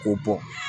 K'o bɔ